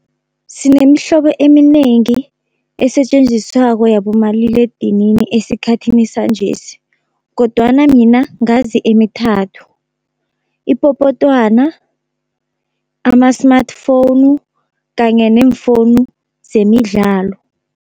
Sinemihlobo eminengi esetjenziswako yabomaliledinini esikhathini sanjesi, kodwana mina ngazi emithathu, ipopotwana, ama-smartphone kanye neemfowunu zemidlalo.